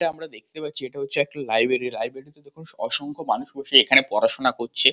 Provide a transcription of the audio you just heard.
আমরা দেখতে পাচ্ছি এটা হচ্ছে একটা লাইব্রেরি লাইব্রেরি দেখ অসংখ মানুষ এখানে বসে পড়াশোনা করছে।